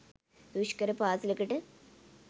දුෂ්කර පාසලකට